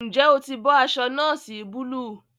Njé o tí bó aṣọ noosi Búlúù?